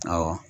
Awɔ